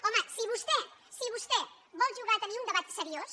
home si vostè vol jugar a tenir un debat seriós